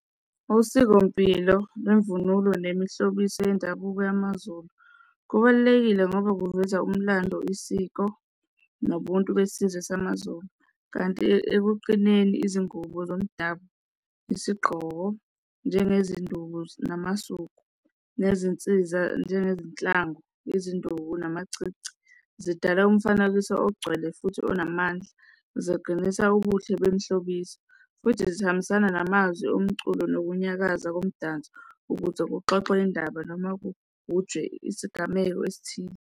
Osikompilo nemvunulo nemihlobiso yendabuko yamaZulu, kubalulekile ngoba kuveza umlando, isiko, nobuntu besizwe samaZulu, kanti ekuqineni izingubo zomdabu, isigqoko njengezinduku namasuku nezinsiza njengezinhlangu, izinduku namacici zidala umfanekiso ogcwele futhi onamandla, ziqinisa ubuhle kwemihlobiso, futhi zihambisana namazwi omculo nokunyakaza komdanso ukuze kuxoxwe indaba noma kugujwe isigameko esithile.